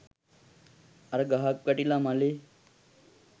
අර ගහක් වැටිලා මළේ